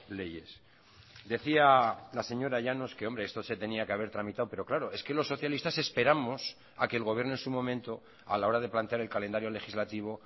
leyes decía la señora llanos que hombre esto se tenía que haber tramitado pero claro es que los socialistas esperamos a que el gobierno en su momento a la hora de plantear el calendario legislativo